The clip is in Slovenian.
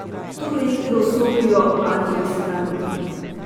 Tu v igro vstopijo antioksidanti.